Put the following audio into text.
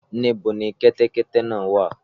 Níbo ni kẹ́tẹ́kẹ́tẹ́ náà wà?